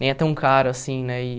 Nem é tão caro, assim, né? E